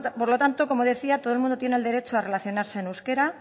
por lo tanto como decía todo el mundo tiene el derecho a relacionarse en euskera